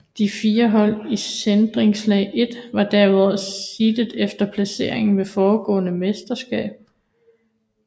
De fire hold i seedningslag 1 var derudover seedet efter placering ved forgående mesterskab